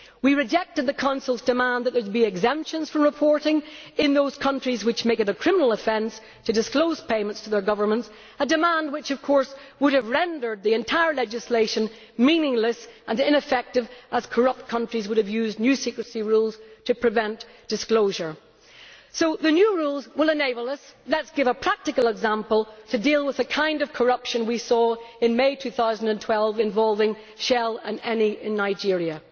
We rejected the Council's demand that there should be exemptions from reporting rules in those countries which make it a criminal offence to disclose payments to their governments, a demand which would have rendered the entire legislation meaningless and ineffective, as corrupt countries would have used new secrecy rules to prevent disclosure. So the new rules will enable us, to give a practical example, to deal with the kind of corruption we saw in May 2012 involving Shell and Eni in Nigeria.